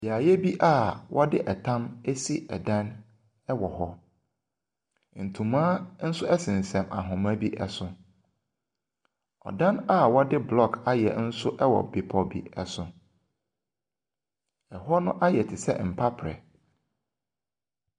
Beaeɛ bi a wɔde tam asi dan wɔ hɔ, ntoma nso sensɛn ahoma bi so. Dan a wɔde blɔɔge ayɛ nso wɔ bepɔ bi so. Na hɔ no ayɛ te sɛ mpaperɛ.